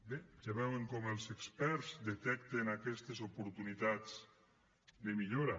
bé ja veuen com els experts detecten aquestes oportunitats de millora